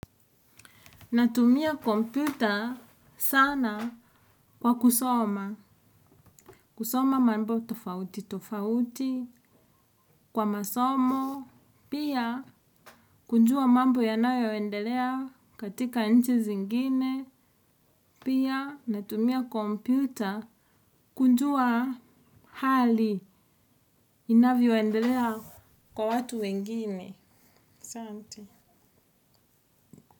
Natumia kompyuta sana kwa kusoma. Kusoma mambo tofauti, tofauti, kwa masomo, pia kujua mambo yanayoendelea katika inchi zingine. Pia natumia kompyuta kujua hali inavyoendelea kwa watu wengine. Sante.